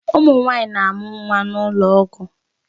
Ụmụ nwanyị na-amụ nwa n'ụlọ ọgwụ